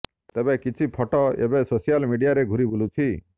ତେବେ କିଛି ଫୋଟେ ଏବେ ସୋସିଆଲ ମିଡିଆରେ ଘୁରି ବୁଲିଛି